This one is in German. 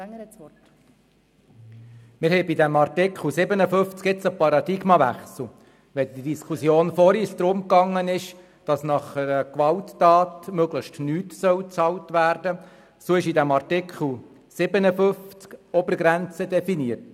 Während es bei der vorangehenden Diskussion darum ging, dass nach einer Gewalttat möglichst nichts bezahlt werden solle, so wird im Artikel 57 eine Obergrenze definiert.